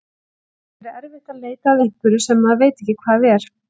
Það getur verið erfitt að leita að einhverju sem maður veit ekki hvað er!